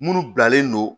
Minnu bilalen non